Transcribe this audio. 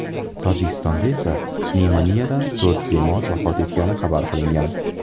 Tojikistonda esa pnevmoniyadan to‘rt bemor vafot etgani xabar qilingan .